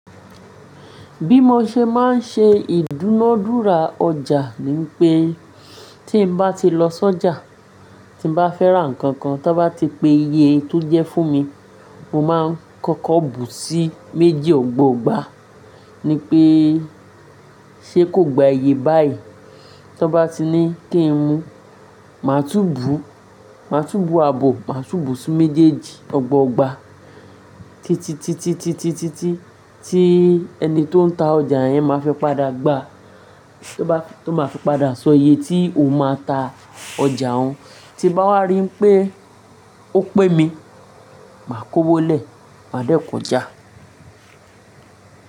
Bí mo ṣe máa ń ṣe ìdúnadúrà ọjà ni pé tí mo bá ti lọ s'ójà, tí mo bá fẹ́ ra nǹkan kan, tí wọ́n bá ti pe iye tó jẹ́ fún mi, mo máa ń kọ́kọ́ bù sí méjì ọgbọ̀ gbà. Ni pé ṣe kò gba iye báyìí. T'ọ́n bá ti ní kí n mu, màá tú bù, màá tú bù àbọ̀, màá tú bù sí méjèèjì ọgbọ̀ ọgba. Tí, tí, tí, tí, tí, tí, tí ẹni tó ń ta ọjà yẹn máa fẹ́ padà gba, tí ó bá, tó máa fẹ́ padà sọ iye tí o máa ta ọjà òun. Tí bá wá rí pé ó pẹ́ mi, màá kó wọlé, màá dẹ́ k'ojá.